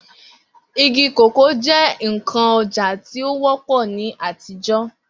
Igi kòkó jẹ́ ǹkan ọjà tí ó wọ́pọ̀ ní àtijọ́